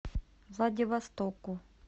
владивостоку